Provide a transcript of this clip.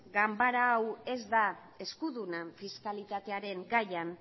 ganbara hau ez da eskuduna fiskalitatearen gaian